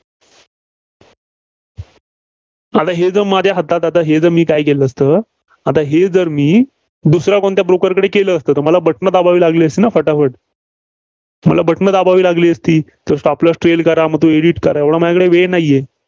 असा हे जो माझ्या हातात, हे जे मी काय केलं असतं? आता हे जर मी दुसऱ्या कोणत्या broker कडे केलं असतं, तर मला Button दाबावी लागली असती ना? फटाफट. मला button दाबावी लागली असती, तर Stop loss trail करा मग तो edit करा, एवढा माझ्याकडे वेळ नाहीये.